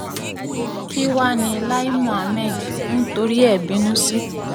kí wàá ní lai muhammed ń torí ẹ̀ bínú sí